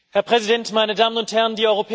Herr Präsident, meine Damen und Herren!